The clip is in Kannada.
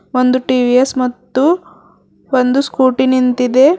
ಒಂದು ಟಿ_ವಿ_ಎಸ್ ಮತ್ತು ಒಂದು ಸ್ಕೂಟಿ ನಿಂತಿದೆ.